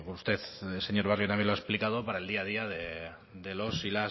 usted señor barrio también lo ha explicado para el día a día de los y